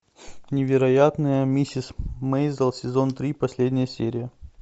невероятная миссис мейзел сезон три последняя серия